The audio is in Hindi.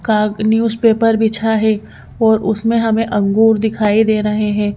का न्यूज़पेपर बिछा है और उसमें हमें अंगूर दिखाई दे रहे हैं।